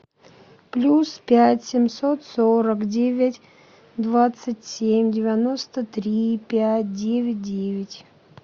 плюс пять семьсот сорок девять двадцать семь девяносто три пять девять девять